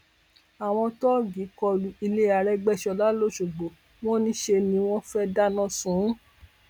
àwọn tóògì kọlu ilé árégbèsọlá lọṣọgbó wọn ní ṣe ni wọn fẹẹ dáná sun ún